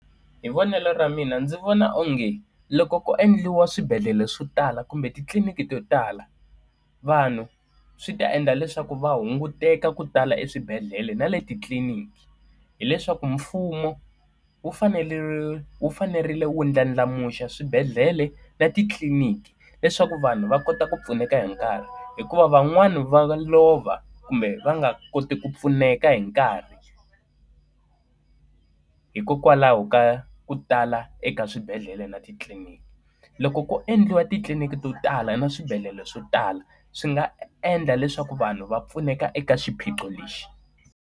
Hi vonelo ra mina ndzi vona onge loko ko endliwa swibedhlele swo tala kumbe titliliniki to tala, vanhu swi ta endla leswaku va hunguteka ku tala eswibedhlele na le titliliniki. Hileswaku mfumo wu fanele wu fanerile u ndlandlamuxa swibedhlele na titliliniki leswaku vanhu va kota ku pfuneka hi nkarhi. Hikuva van'wani va lova kumbe va nga koti ku pfuneka hi nkarhi hikokwalaho ka ku tala eka swibedhlele na titliliniki. Loko ko endliwa titliliniki to tala na swibedhlele swo tala, swi nga endla leswaku vanhu va pfuneka eka xiphiqo lexi.